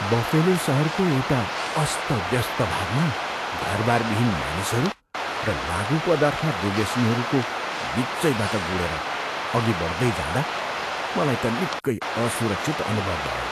Buffalo सहरको एउटा अस्तव्यस्त भागमा घरबारविहीन मानिसहरू र लागुपदार्थ दुर्व्यसनीहरूको बिचैबाट गुडेर अघि बढ्दै जाँदा मलाई त निकै असुरक्षित अनुभव भयो।